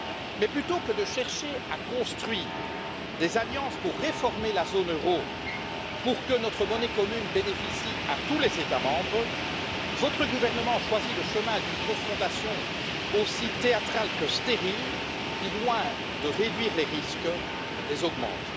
Mais plutôt que de chercher à construire des alliances pour réformer la zone euro, pour que notre monnaie commune bénéficie à tous les États membres, votre gouvernement choisit le chemin d'une confrontation aussi théâtrale que stérile qui, loin de réduire les risques, les augmente.